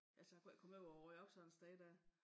Altså jeg kunne ikke komme ud og rydde op sådan et sted dér